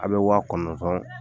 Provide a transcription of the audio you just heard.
Aw bɛ waa kɔnɔntɔn